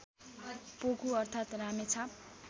पोकु अर्थात् रामेछाप